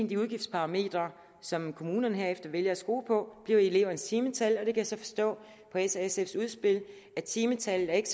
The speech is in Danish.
de udgiftsparametre som kommunerne herefter vælger at skrue på bliver elevernes timetal og jeg kan så forstå på s og sfs udspil at timetallet ikke